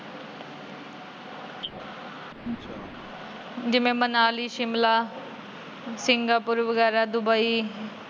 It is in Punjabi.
ਜਿਵੇ ਮਨਾਲੀ, ਸ਼ਿਮਲਾ, ਸਿੰਗਾਪੁਰ ਵਗੈਰਾ ਦੁਬਈ।